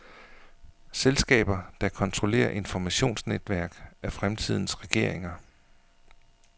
Selskaber, der kontrollerer informationsnetværk, er fremtidens regeringer.